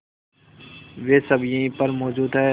वे सब यहीं पर मौजूद है